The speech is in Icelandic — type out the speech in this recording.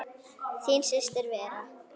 Þín systir Vera.